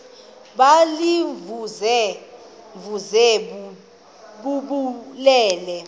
baziimvuze mvuze bububele